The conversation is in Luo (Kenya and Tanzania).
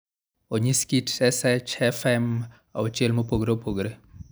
Onyis kit SHFM auchiel mopogore opogore.